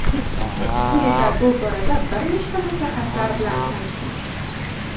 Quyida bu borada bir nechta maslahatlar bilan tanishing:.